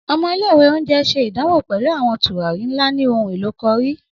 Ọmọ ile-iwe onjẹ ṣe idanwo pẹlu awọn turari nla ni ohunelo cùrry.